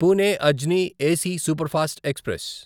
Pune Ajni AC superfast express